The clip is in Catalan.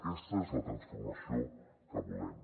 aquesta és la transformació que volem